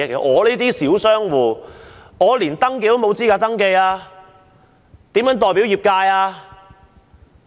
我這類小商戶，連登記的資格都沒有，如何代表業界？